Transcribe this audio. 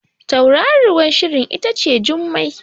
Tauraruwar Shirin ita ce Jummai